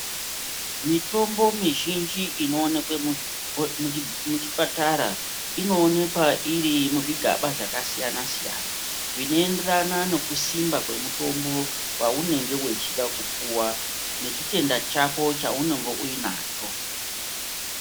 Mitombo mizhnji inovanikwa muzvipatara inoonekwa iri muzvigaba zvakasiyana-siyana. Zvinoenderana nekusimba kwamutombo vaunenge vechida kupuwa nechitenda chako chaunenge unacho.